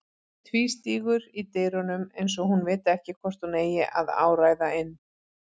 Tvístígur í dyrunum eins og hún viti ekki hvort hún eigi að áræða inn.